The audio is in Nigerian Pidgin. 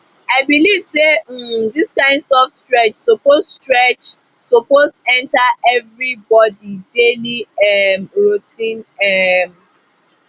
i believe say um this kind soft stretch suppose stretch suppose enter everybody daily um routine um